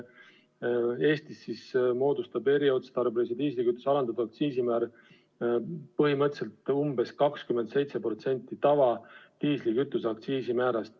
Eestis moodustab eriotstarbelise diislikütuse alandatud aktsiisimäär põhimõtteliselt umbes 27% tavalise diislikütuse aktsiisimäärast.